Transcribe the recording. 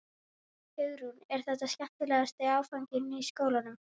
Hugrún: Er þetta skemmtilegasti áfanginn í skólanum?